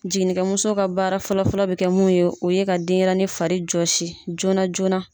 Jiginikɛmuso ka baara fɔlɔfɔlɔ bɛ kɛ mun ye o ye ka denyɛrɛnin farijɔsi joona joona.